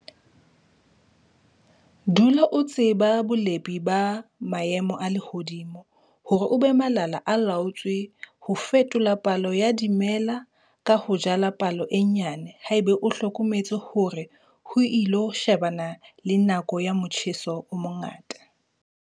Dula o tseba ka bolepi ba maemo a lehodimo hore o be malala-a-laotswe ho fetola palo ya dimela ka ho jala palo e nyane haeba o hlokometse hore o ilo shebana le nako ya motjheso o mongata.